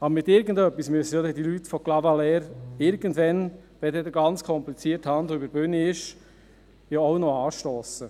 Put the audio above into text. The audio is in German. Aber mit irgendetwas müssen die Leute von Clavaleyres irgendwann, wenn der ganze komplizierte Handel über die Bühne gegangen ist, ja auch noch anstossen.